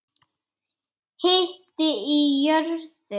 Hiti í jörðu